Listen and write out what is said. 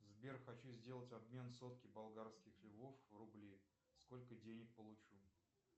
сбер хочу сделать обмен сотки болгарских львов в рубли сколько денег получу